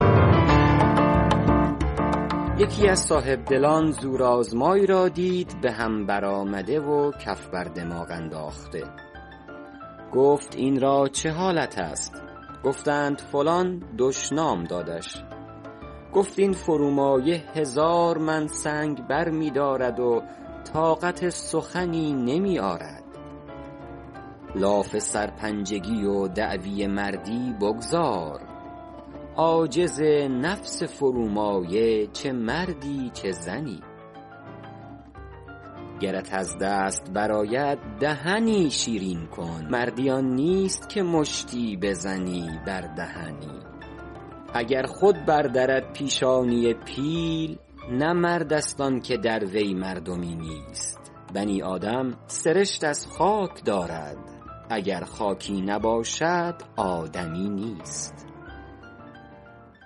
یکی از صاحبدلان زورآزمایی را دید به هم برآمده و کف بر دماغ انداخته گفت این را چه حالت است گفتند فلان دشنام دادش گفت این فرومایه هزار من سنگ برمی دارد و طاقت سخنی نمی آرد لاف سرپنجگی و دعوی مردی بگذار عاجز نفس فرومایه چه مردی چه زنی گرت از دست برآید دهنی شیرین کن مردی آن نیست که مشتی بزنی بر دهنی اگر خود بر درد پیشانی پیل نه مرد است آن که در وی مردمی نیست بنی آدم سرشت از خاک دارد اگر خاکی نباشد آدمی نیست